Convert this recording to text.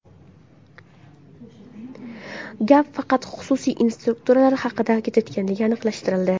Gap faqat xususiy instruktorlar haqida ketayotgani aniqlashtirildi.